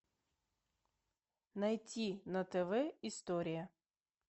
найти на тв история